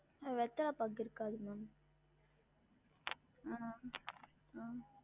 வெத்தல பாக்கு இருக்காது maam அஹ் அஹ்